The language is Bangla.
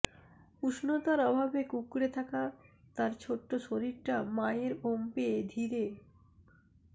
উষ্ণতার অভাবে কুঁকড়ে থাকা তার ছোট্ট শরীরটা মায়ের ওম পেয়ে ধীরে